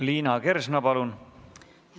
Liina Kersna, palun!